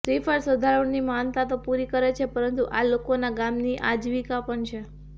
શ્રીફળ શ્રદ્ધાળુ ની માનતા તો પૂરી કરે છે પરંતુ આ લોકોના ગામની આજીવિકા પણ છે